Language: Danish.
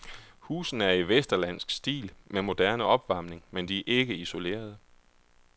Husene er i vesterlandsk stil med moderne opvarmning, men de er ikke isolerede.